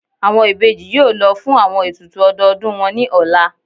Awọn ibeji yóò lọ fun awọn etùtù ọdodùn wọn ni ọla.